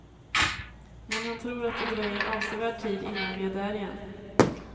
Men han tror att det dröjer avsevärd tid innan vi är där igen.